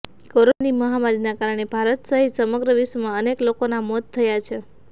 કોરોનાની મહામારીના કારણે ભારત સહિત સમગ્ર વિશ્વમાં અનેક લોકોના મોત થયા છે